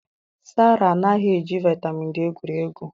Sarah anaghị eji vitamin D egwuri egwu